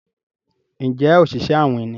Njé Oṣiṣẹ awin ní?